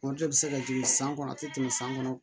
Foroto bɛ se ka jigin san kɔnɔ a tɛ tɛmɛ san kɔnɔ